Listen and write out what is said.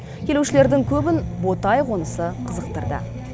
келушілердің көбін ботай қонысы қызықтырды